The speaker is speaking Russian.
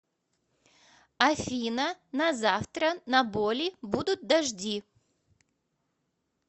афина на завтра на боли будут дожди